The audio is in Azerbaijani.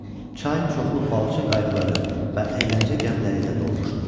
Çay çoxlu balıqçı qayıqları və əyləncə gəmiləri ilə dolmuşdu.